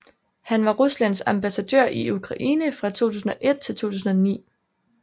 Han var Ruslands ambassadør i Ukraine fra 2001 til 2009